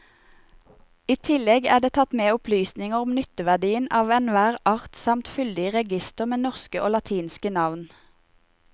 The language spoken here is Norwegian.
I tillegg er det tatt med opplysninger om nytteverdien av enhver art samt fyldig reigister med norske og latinske navn.